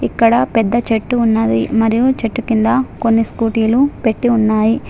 ఇక్కడ పెద్ద చెట్టు ఉన్నది మరియు చెట్టు కింద కొన్ని స్కూటీలు పెట్టీ ఉన్నాయి.